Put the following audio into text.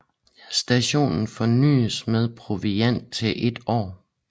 Stationen forsynes med proviant til et år